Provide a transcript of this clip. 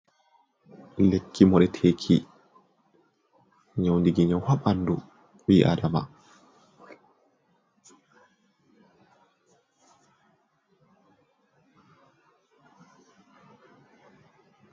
Lekki mure teki nyaundiki nyawu ha ɓandu bi adama.